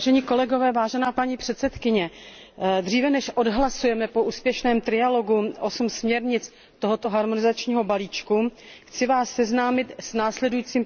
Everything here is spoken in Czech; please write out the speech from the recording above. Paní předsedající, dříve než odhlasujeme po úspěšném trialogu osm směrnic tohoto harmonizačního balíčku, chci vás seznámit s následujícím prohlášením.